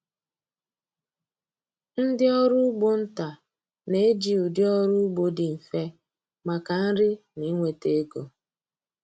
Ndị ọrụ ugbo nta na-eji ụdị ọrụ ugbo dị mfe maka nri na inweta ego.